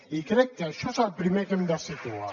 i crec que això és el primer que hem de situar